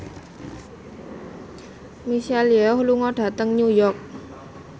Michelle Yeoh lunga dhateng New York